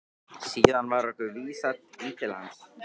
Síðan var okkur vísað inn til hans.